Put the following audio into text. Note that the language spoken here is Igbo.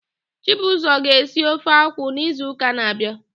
Chibuzọ ga-esi ofe akwụ n'izuụka na-abịa.